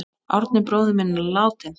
Árni bróðir minn er látinn.